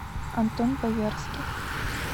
антон боярских